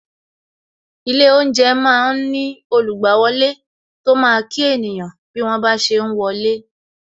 Ilé oúnjẹ máa ń ní olugbawole tó máa kí ènìyàn bí wọ́n ba ṣe ń wọlé